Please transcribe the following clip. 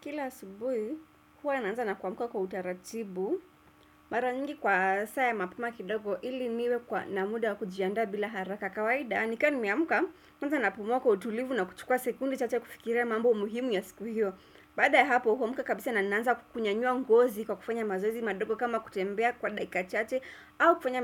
Kila asubuhi, huwa naanza na kuamka kwa utaratibu, mara nyingi kwa saa ya mapema kidogo ili niwe na muda wa kujianda bila haraka kawaida. Nika nimeamka, kwanza napumua kwa utulivu na kuchukua sekunde chache kufikira mambo muhimu ya siku hiyo. Bada ya hapo, huamka kabisa na nanza kunyanyua ngozi kwa kufanya mazoezi madogo kama kutembea kwa dakika chache au kufanya